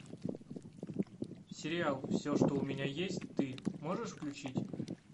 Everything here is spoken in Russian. сериал все что у меня есть ты можешь включить